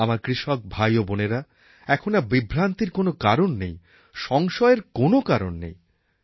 আমার কৃষক ভাই ও বোনেরা এখন আর বিভ্রান্তির কোনও কারণ নেই সংশয়ের কোন কারণ নেই